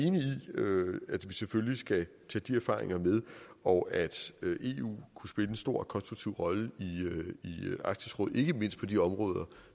at vi selvfølgelig skal tage de erfaringer med og at eu kunne spille en stor og konstruktiv rolle i arktisk råd ikke mindst på de områder